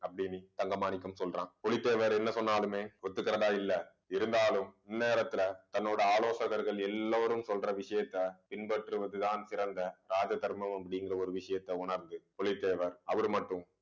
அப்படீன்னு தங்க மாணிக்கம் சொல்றான் புலித்தேவர் என்ன சொன்னாலுமே ஒத்துக்கறதா இல்லை இருந்தாலும் இந்நேரத்துல தன்னோட ஆலோசகர்கள் எல்லோரும் சொல்ற விஷயத்த பின்பற்றுவதுதான் சிறந்த ராஜ தர்மம் அப்படிங்கிற ஒரு விஷயத்தை உணர்ந்து புலித்தேவர் அவர் மட்டும்